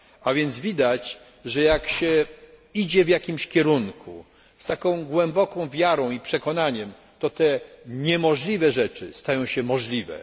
A więc widać, że jak się idzie w jakimś kierunku z taką głęboką wiarą i przekonaniem, to te niemożliwe rzeczy stają się możliwe.